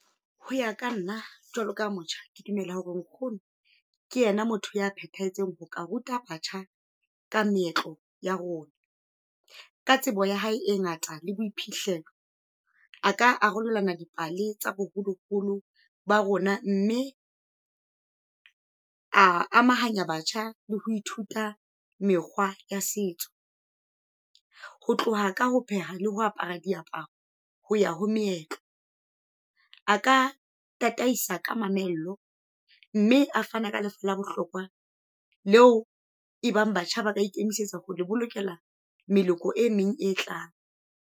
Ho ya ka nna, jwalo ka motjha ke dumela hore nkgono ke yena motho ya phethahetseng ho ka ruta batjha ka meetlo ya rona. Ka tsebo ya hae e ngata le boiphihlelo a ka arolelana dipale tsa boholoholo ba rona, mme a amahanya batjha le ho ithuta mekgwa ya setso. Ho tloha ka ho pheha le ho apara diaparo, ho ya ho meetlo. A ka tataisa ka mamello, mme a fana ka le la bohlokwa. Leo e bang batjha ba ka ikemisetsa ho le bolokela meleko e meng e tlang.